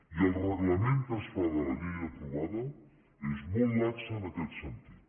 i el reglament que es fa de la llei aprovada és molt lax en aquest sentit